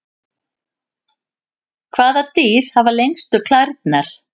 Hvaða dýr hafa lengstu klærnar?